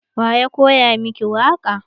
Wa ya koya miki waƙa?